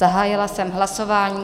Zahájila jsem hlasování.